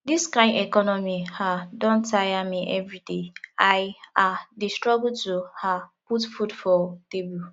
dis kain economy um don tire me everyday i um dey struggle to um put food for table